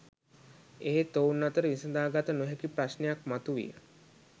එහෙත් ඔවුන් අතර විසඳාගත නොහැකි ප්‍රශ්නයක් මතු විය